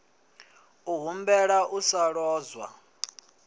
u humbela u sa lozwa